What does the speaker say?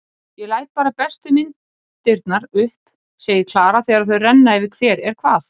Ég læt bara bestu myndirnar upp, segir Klara þegar þau renna yfir hver er hvað.